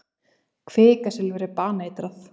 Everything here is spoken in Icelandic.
Kvikasilfur er baneitrað.